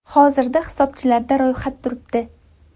Hozirda hisobchilarda ro‘yxat turibdi.